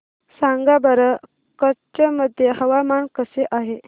सांगा बरं कच्छ मध्ये हवामान कसे आहे